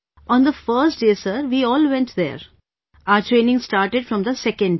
On the first day sir we all went there... our training started from the second day